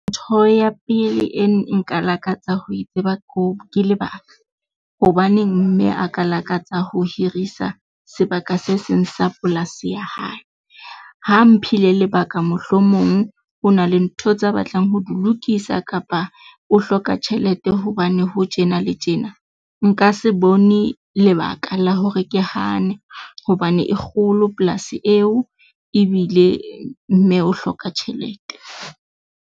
Ntho ya pele e nka lakatsa ho e tseba ke lebaka. Hobaneng mme a ka lakatsa ho hirisa sebaka se seng sa polasi ya hae? Ha mphile lebaka mohlomong o na le ntho tse batlang ho di lokisa. Kapa o hloka tjhelete hobane ho tjena le tjena. Nka se bone lebaka la hore ke hane hobane e kgolo polasi eo ebile mme o hloka tjhelete.